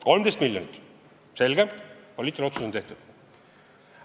13 miljonit – selge, poliitiline otsus on tehtud.